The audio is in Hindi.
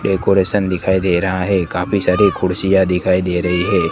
डेकोरेशन दिखाई दे रहा है काफी सारी कुर्सियां दिखाई दे रही है।